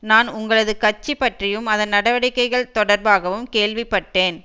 நான் உங்களது கட்சி பற்றியும் அதன் நடவடிக்கைகள் தொடர்பாகவும் கேள்விப்பட்டேன்